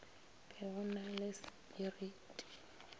be go na le sepiriti